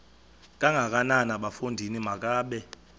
kangakanana bafondini makabe